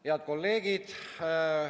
Head kolleegid!